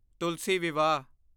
ਤੁਲਸੀ ਵਿਵਾਹ